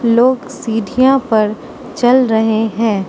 लोग सीढ़ियां पर चल रहे हैं।